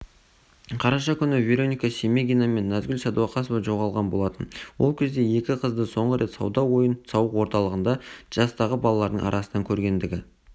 қараша күні вероника семегина мен назгүл сәдуақасова жоғалған болатын ол кезде екі қызды соңғы рет сауда-ойын-сауық орталығында жастағы балалардың арасынан көргендігі